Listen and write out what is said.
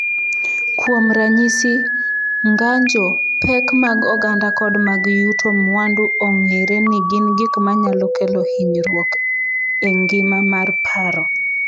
Kuom ranyisi, ng’anjo, pek mag oganda kod mag yuto mwandu ong’ere ni gin gik ma nyalo kelo hinyruok e ngima mar paro.